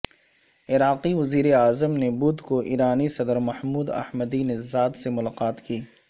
عراقی وزیراعظم نے بدھ کو ایرانی صدر محمود احمدی نژاد سے ملاقات کی